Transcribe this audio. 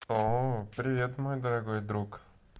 о привет мой дорогой друг